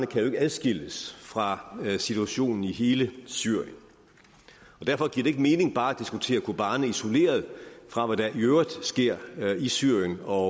kan adskilles fra situationen i hele syrien og derfor giver det ikke mening bare at diskutere kobani isoleret fra hvad der i øvrigt sker i syrien og